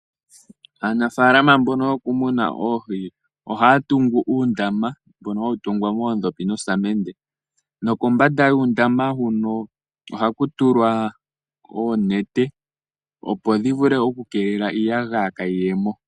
Aanafaalama mbono yo kumuna oohi ohaya tungu uundama mbono hawu tungwa moodhopi dhoosamende, nokombanda yuundamo mbono ohaku tulwa oonete opo dhi vule oku keelela iiyagaya kaayi ye mo.